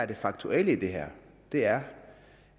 det faktuelle i det her er